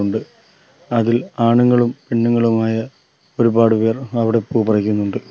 ഉണ്ട് അതിൽ ആണുങ്ങളും പെണ്ണുങ്ങളുമായ ഒരുപാട് പേർ അവടെ പൂ പറിക്കുന്നുണ്ട്.